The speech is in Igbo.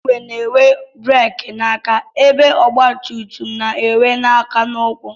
Igwe na-enwe bereki n'aka ebe ọgbatumtum na-enwe n'aka na ụkwụ